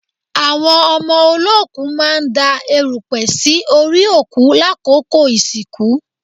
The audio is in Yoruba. Àwọn ọmọ olóòkú máa ń da èrùpẹ̀ sí orí òkú lákòókò ìsìnkú